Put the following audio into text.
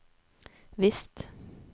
visst